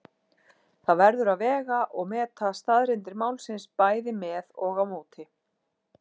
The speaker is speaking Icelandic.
Það verður að vega og meta staðreyndir málsins bæði með og á móti.